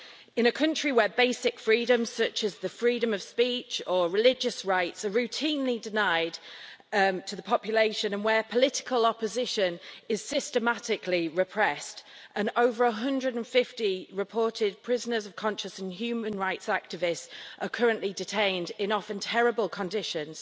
In a country where basic freedoms such as the freedom of speech or religious rights are routinely denied to the population and where political opposition is systematically repressed and over 150 reported prisoners of conscience and human rights activists are currently detained in often terrible conditions,